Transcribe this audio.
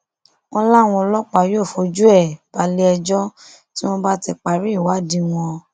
wọn láwọn ọlọpàá yóò fojú ẹ balẹẹjọ tí wọn bá ti parí ìwádìí wọn